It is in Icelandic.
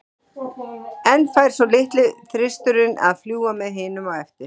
En fær svo litli þristurinn að fljúga með hinum á eftir?